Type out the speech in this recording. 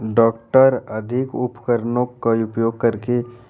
doctor अधिक उपकरणों का उपयोग कर के--